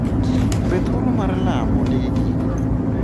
Be thuolo mar lamo nigi giko?